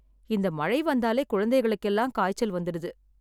இந்த மழை வந்தாலே குழந்தைகளுக்கு எல்லாம் காய்ச்சல் வந்துடுது.